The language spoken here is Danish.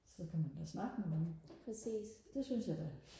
så kan man da snakke med nogen det synes jeg da